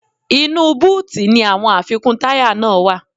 Inú búùtì ni àwọn àfikún táyà náà wá.